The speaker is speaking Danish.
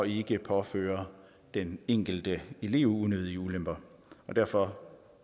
ikke påfører den enkelte elev unødige ulemper og derfor